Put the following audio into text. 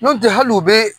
Nɔntɛ hali u bɛ